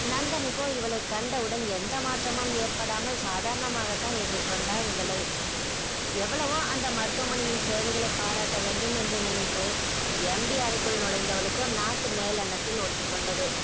நந்தனுக்கோ இவளை கண்டவுடன் எந்த மாற்றமும் ஏற்படாமல் சாதாரணமாக தான் எதிர்கொண்டா இவளை எவ்வளவோ அந்த மருத்துவமனையின் சேவைகளை பாராட்ட வேண்டும் என்று நினைத்து MD அறைக்குள் நுழைந்தவளுக்கோ நாக்கு மேலனத்தில் ஒட்டிக் கொண்டது